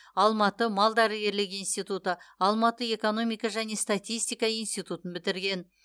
алматы малдәрігерлік институты алматы экономика және статистика институтын бітірген